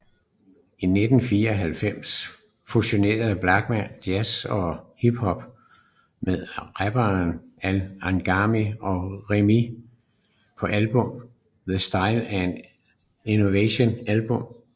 I 1994 fusionerede Blachman jazz og hiphop med rapperne Al Agami og Remee på albummet The Style and Invention Album